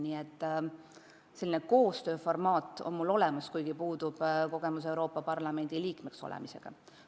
Nii et selline koostöökogemus on mul olemas, kuigi puudub Euroopa Parlamendi liikmeks olemise kogemus.